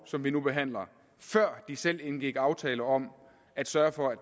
som vi nu behandler før de selv indgik en aftale om at sørge for at